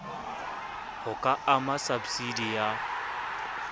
ho ka ama sabsidi ya